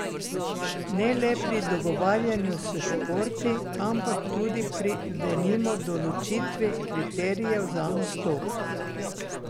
Ne le pri dogovarjanju s športi, ampak tudi pri denimo določitvi kriterijev za nastop.